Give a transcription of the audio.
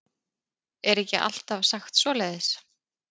Er ekki alltaf sagt svoleiðis?